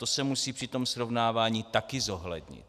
To se musí při tom srovnávání také zohlednit.